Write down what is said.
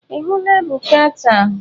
Ị hụla Ebuka taa?